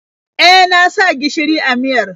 E, na sa gishiri a miyar.